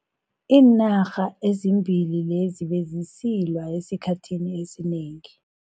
Iinarha ezimbili lezi bezisilwa esikhathini esinengi.